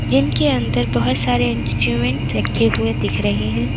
Gym अंदर बोहोत सारे इंस्ट्रूमेंट रखे हुए दिख रहे हैं।